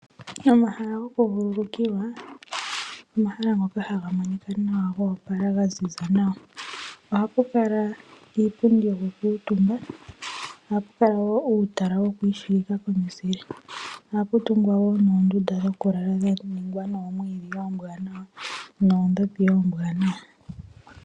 Omahala gokuvululukilwa omahala ngoka haga monika nawa goopala ga ziza nawa. Ohapu kala iipundi yokukuutumba. Ohapu kala wo uutala woku ishigika womuzile. Ohapu kala wo noondunda dhokulala dha ningwa noomwiidhi oombwanawa noondhopi oombwanawa.